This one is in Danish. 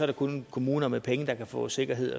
det kun kommuner med penge der kan få sikkerhed